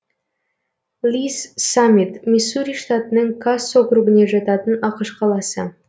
ли с саммит миссури штатының касс округіне жататын ақш қаласы